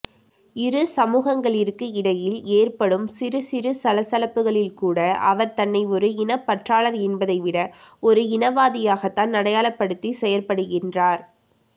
இரு சமுகங்களிற்கு இடையில் ஏற்படும் சிறுசிறு சலசலப்புகளில்கூட அவர் தன்னை ஒரு இனப்பற்றாளர் என்பதைவிட ஒரு இனவாதியாகத்தான் அடையாளப்படுத்தி செயற்படுகின்றார்